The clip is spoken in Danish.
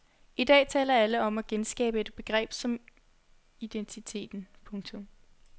I dag taler alle om at genskabe et begreb om identiteten. punktum